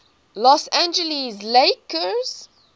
los angeles lakers